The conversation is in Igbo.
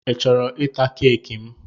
I chọrọ ịta keeki m?